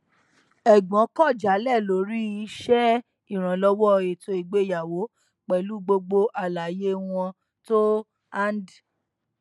ẹgbọn kọ jálẹ lórí ṣṣe ìrànlọwọ ètò ìgbéyàwó pẹlú gbogbo àlàyé wọn tó hànde